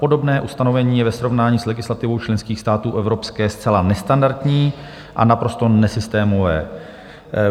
Podobné ustanovení je ve srovnání s legislativou členských států Evropské zcela nestandardní a naprosto nesystémové.